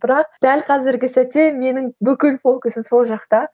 бірақ дәл қазіргі сәтте менің бүкіл фокусым сол жақта